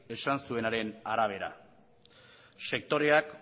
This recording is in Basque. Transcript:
esan zuenaren arabera sektoreak